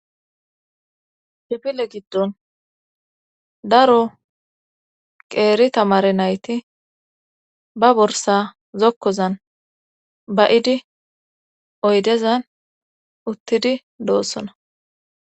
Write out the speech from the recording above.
Kifile giddon daro qeeri tamare nayti ba borsa zokkozan ba7idi oydezan uttidi doossona.